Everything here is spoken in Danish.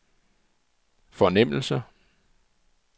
fornemmelse